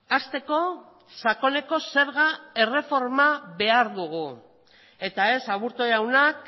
hasteko sakoneko zerga erreforma behar dugu eta ez aburto jaunak